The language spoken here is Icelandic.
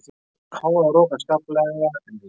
Hávaðarok en skaplegra en í gær